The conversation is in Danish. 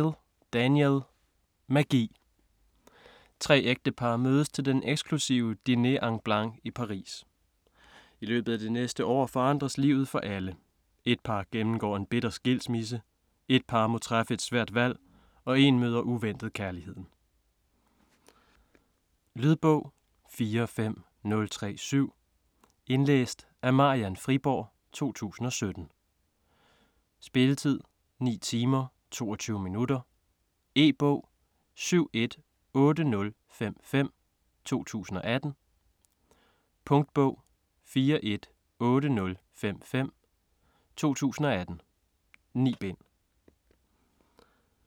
Steel, Danielle: Magi Tre ægtepar mødes til den eksklusive Dîner en Blanc i Paris. I løbet af det næste år forandres livet for alle. Ét par gennemgår en bitter skilsmisse, ét par må træffe et svært valg og én møder uventet kærligheden. Lydbog 45037 Indlæst af Marian Friborg, 2017. Spilletid: 9 timer, 22 minutter. E-bog 718055 2018. Punktbog 418055 2018. 9 bind.